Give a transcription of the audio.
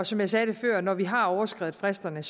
som jeg sagde før når vi har overskredet fristerne